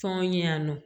Tɔn ɲɛ yan nɔ